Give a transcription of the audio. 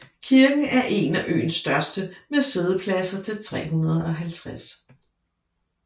Kirken er en af øens største med siddepladser til 350